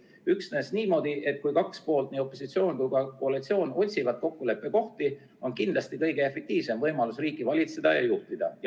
Üksnes niimoodi, et kaks poolt, nii opositsioon kui ka koalitsioon, otsivad kokkuleppekohti, on kindlasti kõige efektiivsem võimalus riiki valitseda ja juhtida.